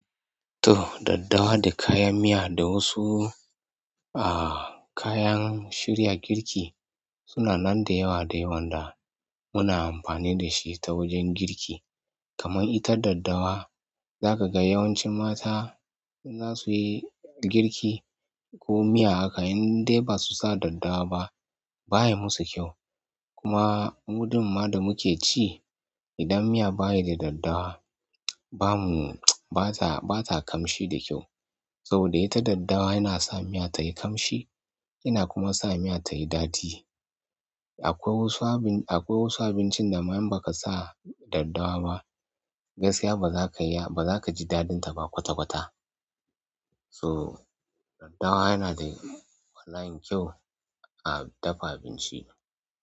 To, daddawa da kayan miya da wasu a-kayan shirya girki suna nan da yawa da yawan da muna amfani da shi ta wajen girki. Kaman ita daddawa, za ka ga yawancin mata in za su yi girki ko miya haka in dai ba su sa daddawa ba, baya musu kyau. Kuma mu ɗin ma da muke ci, idan bayida daddawa bata ƙamshi da kyau. Saboda ita daddawa yana sa miya tayi ƙamshi, yana kuma sa miya tayi daɗi. Akwai wasu abincinda ma in baka sa daddawa ba gaskiya ba za ka ji daɗinta ba kwata-kwata. So daddawa yana da bala'in kyau a dafa abinci.